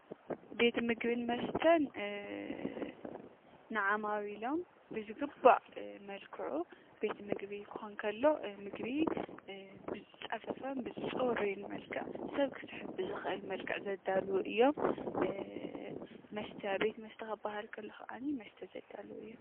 ቤት ምግብን መስተን ንዓማዊሎም ብዝግባእ መልክዑ ቤት ምግቢ ክኮን ከሎ እቲ ምግቢ ብዝፀፈፈን ብፅሩይን መልክዕ ሰብ ክስሕብ ብዝክእል መልክዕ ዘዳልው እዮም፡፡ ቤት መስተ ክበሃል ከሎ ከዓ መስተ ዘዳልው እዮም፡፡